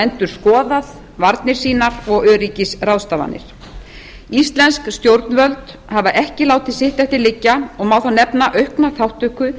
endurskoðað varnir sínar og öryggisráðstafanir íslensk stjórnvöld hafa ekki látið sitt eftir liggja á má þar nefna aukna þátttöku